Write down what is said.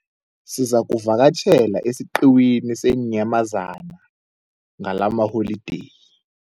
Sizakuvakatjhela esiqhiwini seenyamazana ngalamaholideyi.